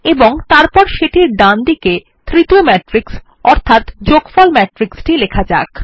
এবং তারপর সেটির ডানদিকে তৃতীয় ম্যাট্রিক্স অর্থাৎ যোগফল ম্যাট্রিক্স টি লেখা যাক